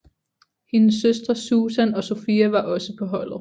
Hendes søstre Susan og Sofia var også på holdet